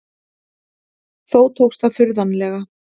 Þó tókst það furðanlega.